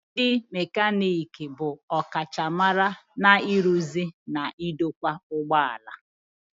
Ndị mekaniki bụ ọkachamara n'ịrụzi na idokwa ụgbọ ala.